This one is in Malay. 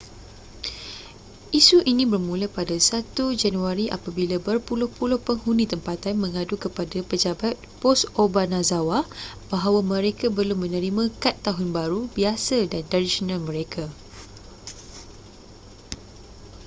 isu ini bermula pada 1 januari apabila berpuluh-puluh penghuni tempatan mengadu kepada pejabat pos obanazawa bahawa mereka belum menerima kad tahun baru biasa dan tradisional mereka